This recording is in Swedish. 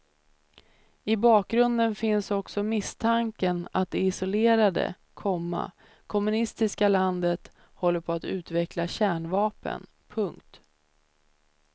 I bakgrunden finns också misstanken att det isolerade, komma kommunistiska landet håller på att utveckla kärnvapen. punkt